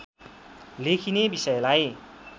लेखिने विषयलाई